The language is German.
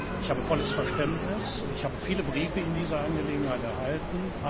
Ich habe volles Verständnis, und ich habe viele Briefe in dieser Angelegenheit erhalten.